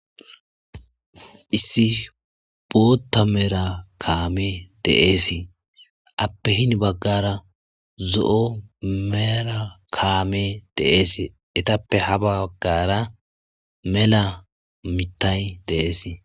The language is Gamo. Issi bootta mera kaame deeesi appe hin baggara zo7o mera kaame deeesi etappe ha baggara mela mitay deeesi.